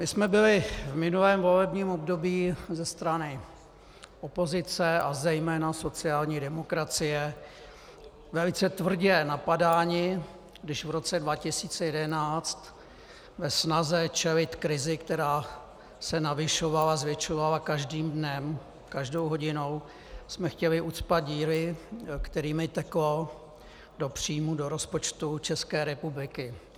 My jsme byli v minulém volebním období ze strany opozice a zejména sociální demokracie velice tvrdě napadáni, když v roce 2011 ve snaze čelit krizi, která se navyšovala, zvětšovala každým dnem, každou hodinou, jsme chtěli ucpat díry, kterými teklo do příjmů do rozpočtu České republiky.